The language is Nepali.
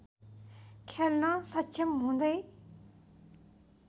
खेल्न सक्षम हुँदै